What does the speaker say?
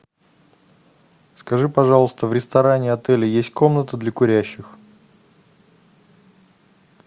скажи пожалуйста в ресторане отеля есть комната для курящих